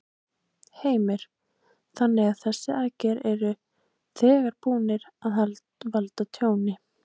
Heimir: Þannig að þessar aðgerðir eru þegar búnar að valda tjóni?